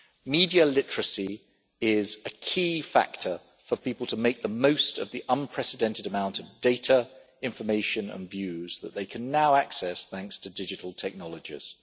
Media literacy is a key factor for people to make the most of the unprecedented amount of data information and views that they can now access thanks to digital technologies.